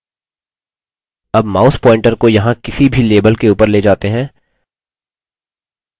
अब mouse pointer को यहाँ किसी भी label के उपर let जाते हैं